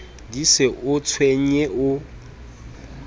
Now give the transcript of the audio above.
di se o tshwenye o